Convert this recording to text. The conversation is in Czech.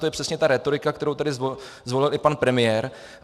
To je přesně ta rétorika, kterou tady zvolil i pan premiér.